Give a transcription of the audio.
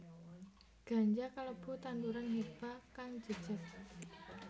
Ganja kalebu tanduran herba kang jejeg